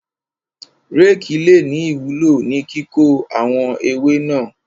Rékì le ní ìwúló ní kíkó àwọn ewé náà.